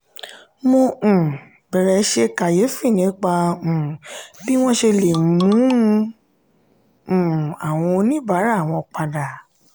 mo um bẹ̀rẹ̀ ṣe kàyéfì nípa um bí wọ́n ṣe lè mú un um àwọn oníbàárà wọn padà.